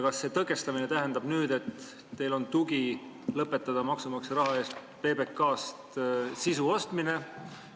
Kas see tõkestamine tähendab nüüd, et teil on tugi lõpetada maksumaksja raha eest PBK-st sisu ostmine?